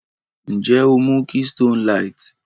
Nje o mu Keystone light?